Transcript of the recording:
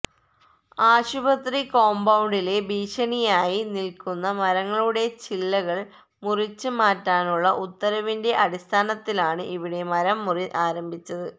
ആശുപത്രി കോമ്പൌണ്ടിലെ ഭീഷണിയായി നില്ക്കുന്ന മരങ്ങളുടെ ചില്ലകള് മുറിച്ച് മാറ്റാനുള്ള ഉത്തരവിന്റെ അടിസ്ഥാനത്തിലാണ് ഇവിടെ മരംമുറി ആരംഭിച്ചത്